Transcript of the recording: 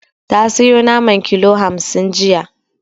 Ta sayo naman kilo hamsin jiya.